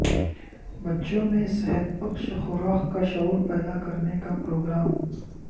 بچوں میں صحت بخش خوراک کا شعور پیدا کرنے کا پروگرام